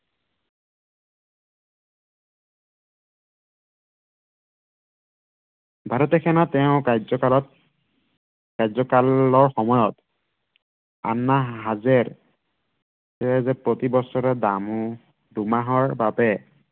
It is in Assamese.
ভাৰতীয় সেনাই তেওঁৰ কাৰ্যকালত কাৰ্যকালৰ সময়ত আন্না হাজেৰ তেওঁ যে প্ৰতিবছৰে দুমাহৰ বাবে